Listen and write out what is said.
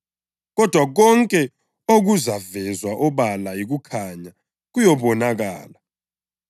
Kodwa konke okuvezwe obala yikukhanya kuyabonakala,